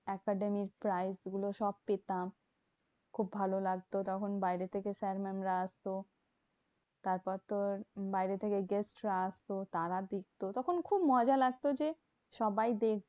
Academic prize গুলো সব পেতাম। খুব ভালো লাগতো। তখন বাইরে থেকে sir mam রা আসতো। তারপর তোর বাইরে থেকে guest রা আসতো তারা দেখতো। তখন খুব মজা লাগতো যে সবাই দেখবে